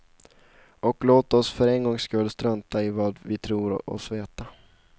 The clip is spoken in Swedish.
Och låt oss för en gångs skull strunta i vad vi tror oss veta.